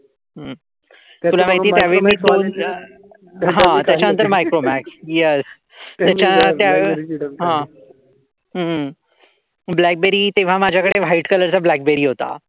हम्म ब्लॅकबेरी. तेव्हा माझ्याकडे व्हाईट कलरचा ब्लॅकबेरी होता.